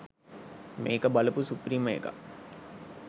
මේක බලපු සුපිරිම එකක්.